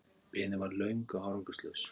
Biðin varð löng og árangurslaus.